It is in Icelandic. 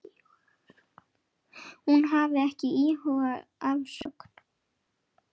Hún hafi ekki íhugað afsögn.